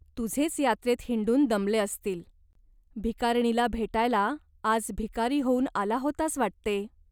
तुझेच यात्रेत हिंडून दमले असतील. भिकारणीला भेटायला आज भिकारी होऊन आला होतास वाटते ?